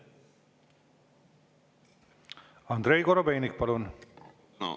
Andrei Korobeinik, palun!